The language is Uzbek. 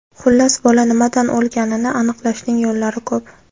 Xullas, bola nimadan o‘lganini aniqlashning yo‘llari ko‘p.